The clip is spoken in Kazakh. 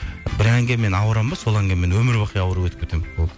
бір әнге мен ауырамын ба сол әнге мен өмірбақи ауырып өтіп кетемін болды